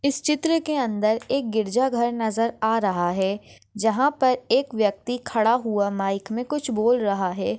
इस चित्र के अंदर एक गिरजा घर नजर आ रहा है जहा पर एक व्यक्ति खड़ा हुआ माइक मे कुछ बोल रहा है।